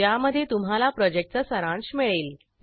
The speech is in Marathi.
ज्यामध्ये तुम्हाला प्रॉजेक्टचा सारांश मिळेल